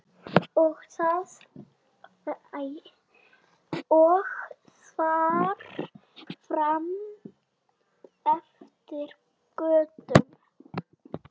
Og þar fram eftir götum.